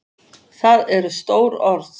Það eru stór orð.